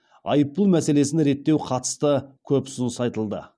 айыппұл мәселесін реттеу қатысты көп ұсыныс айтылды